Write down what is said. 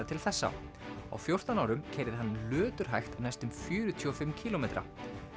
til þessa á fjórtán árum keyrði hann næstum fjörutíu og fimm kílómetra